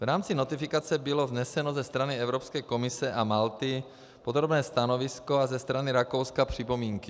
V rámci notifikace bylo vzneseno ze strany Evropské komise a Malty podrobné stanovisko a ze strany Rakouska připomínky.